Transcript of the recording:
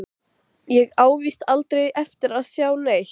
Ég á víst aldrei eftir að sjá neitt.